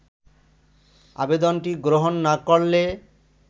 আবেদনটি গ্রহণ না করলে